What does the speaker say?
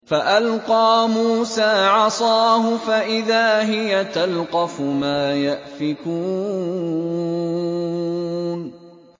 فَأَلْقَىٰ مُوسَىٰ عَصَاهُ فَإِذَا هِيَ تَلْقَفُ مَا يَأْفِكُونَ